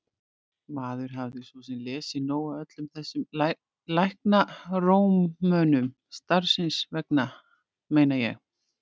Maður hafði svo sem lesið nóg af öllum þessum læknarómönum, starfsins vegna meina ég.